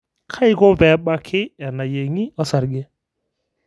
kaiko peebaki enaiyengi osarge?